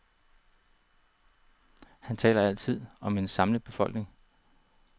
Han taler altid om en samlet befolkning.